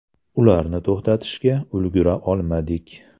Ularni to‘xtatishga ulgura olmadik.